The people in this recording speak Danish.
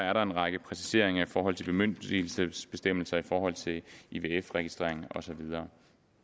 er der en række præciseringer i forhold til bemyndigelsesbestemmelserne forhold til ivf registreringen og så videre